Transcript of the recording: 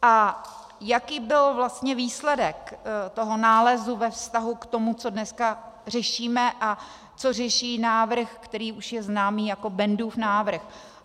A jaký byl vlastně výsledek toho nálezu ve vztahu k tomu, co dneska řešíme a co řeší návrh, který už je známý jako Bendův návrh?